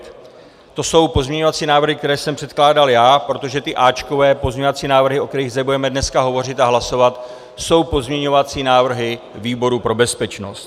To jsou pozměňovací návrhy, které jsem předkládal já, protože ty áčkové pozměňovací návrhy, o kterých zde budeme dnes hovořit a hlasovat, jsou pozměňovací návrhy výboru pro bezpečnost.